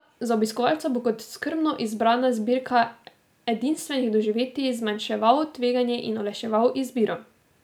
Za obiskovalca bo kot skrbno izbrana zbirka edinstvenih doživetij zmanjševal tveganje in olajševal izbiro.